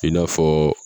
I n'a fɔ